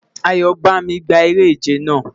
Ayobami, O gba ere-ije naa